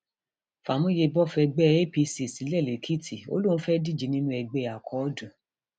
fàmúyẹbọ fẹgbẹ apc sílẹ lẹkìtì ó lóun fẹẹ díje nínú ẹgbẹ akọọdù